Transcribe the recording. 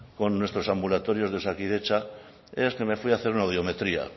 con nuestros ambulatorios de osakidetza es que me fui a hacer una audiometría